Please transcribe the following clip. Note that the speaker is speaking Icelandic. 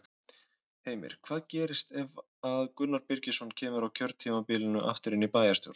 Heimir: Hvað gerist ef að Gunnar Birgisson kemur á kjörtímabilinu aftur inn í bæjarstjórn?